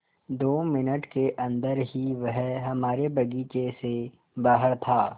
दो मिनट के अन्दर ही वह हमारे बगीचे से बाहर था